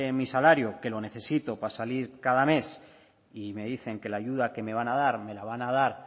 mi salario que lo necesito para salir cada mes y me dicen que la ayuda que me van a dar me la van a dar